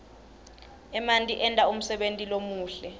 emanti enta umsebenti lomuhle